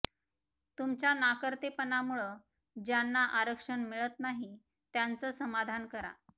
तुमच्या नाकर्तेपणामुळं ज्यांना आरक्षण मिळत नाही त्यांचं समाधान करा